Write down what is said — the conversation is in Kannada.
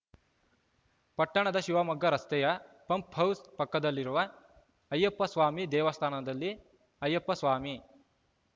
ಪಟ್ಟಣದ ಶಿವಮೊಗ್ಗ ರಸ್ತೆಯ ಪಂಪ್‌ ಹೌಸ್‌ ಪಕ್ಕದಲ್ಲಿರುವ ಅಯ್ಯಪ್ಪಸ್ವಾಮಿ ದೇವಸ್ಥಾನದಲ್ಲಿ ಅಯ್ಯಪ್ಪಸ್ವಾಮಿ